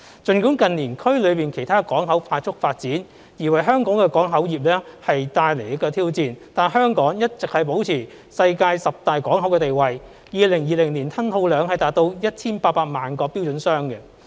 儘管近年區內其他港口快速發展而為香港港口業務帶來挑戰，但香港一直保持其世界十大港口的地位 ，2020 年吞吐量達 1,800 萬個標準箱。